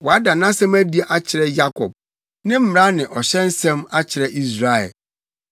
Wada nʼasɛm adi akyerɛ Yakob, ne mmara ne ɔhyɛ nsɛm akyerɛ Israel.